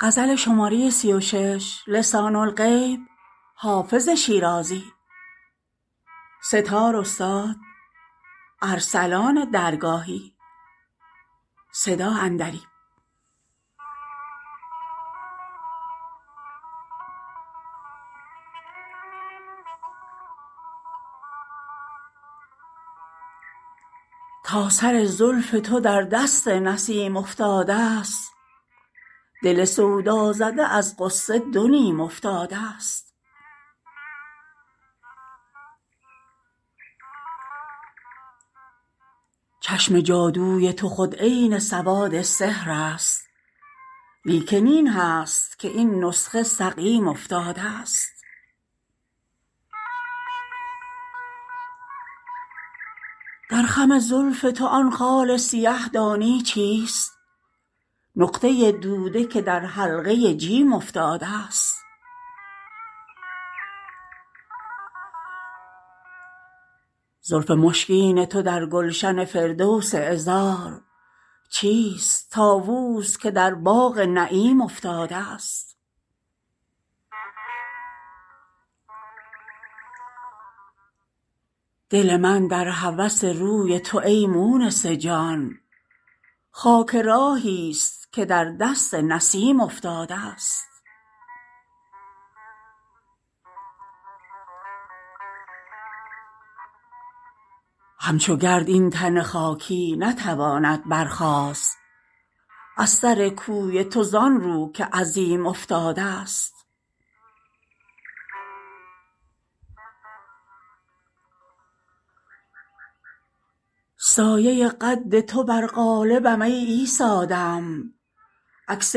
تا سر زلف تو در دست نسیم افتادست دل سودازده از غصه دو نیم افتادست چشم جادوی تو خود عین سواد سحر است لیکن این هست که این نسخه سقیم افتادست در خم زلف تو آن خال سیه دانی چیست نقطه دوده که در حلقه جیم افتادست زلف مشکین تو در گلشن فردوس عذار چیست طاووس که در باغ نعیم افتادست دل من در هوس روی تو ای مونس جان خاک راهیست که در دست نسیم افتادست همچو گرد این تن خاکی نتواند برخاست از سر کوی تو زان رو که عظیم افتادست سایه قد تو بر قالبم ای عیسی دم عکس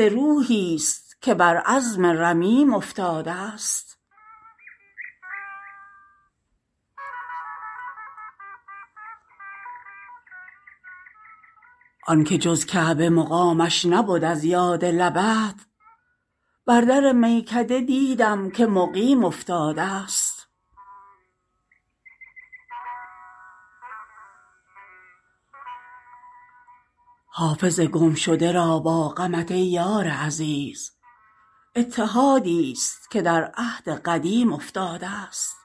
روحیست که بر عظم رمیم افتادست آن که جز کعبه مقامش نبد از یاد لبت بر در میکده دیدم که مقیم افتادست حافظ گمشده را با غمت ای یار عزیز اتحادیست که در عهد قدیم افتادست